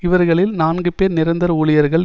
இவர்களில் நான்கு பேர் நிரந்தர ஊழியர்கள்